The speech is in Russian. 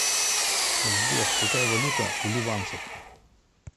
сбер какая валюта у ливанцев